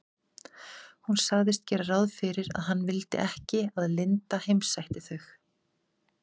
Hún sagðist gera ráð fyrir að hann vildi ekki að linda heimsækti þau.